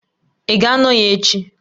Ị ga-anọ ya echi